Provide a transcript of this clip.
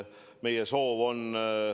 Meie soov on ...